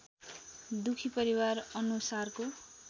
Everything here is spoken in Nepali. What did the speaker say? दुखी परिवार अनुसारको